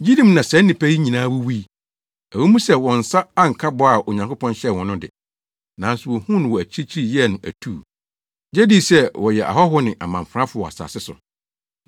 Gyidi mu na saa nnipa yi nyinaa wuwui. Ɛwɔ mu sɛ wɔn nsa anka bɔ a Onyankopɔn hyɛɛ wɔn no de, nanso wohuu no wɔ akyirikyiri yɛɛ no atuu, gye dii sɛ wɔyɛ ahɔho ne amamfrafo wɔ asase so.